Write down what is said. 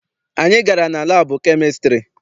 Anyị gara na labu chemistiry.